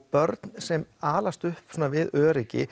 börn sem alast upp við öryggi